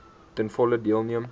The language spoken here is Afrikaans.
ten volle deelneem